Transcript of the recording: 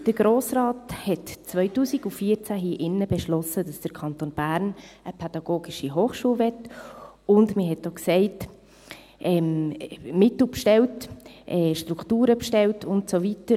Der Grosse Rat beschloss 2014 hier in diesem Saal, dass der Kanton Bern eine PH will, und man bestellte auch Mittel, Strukturen und so weiter.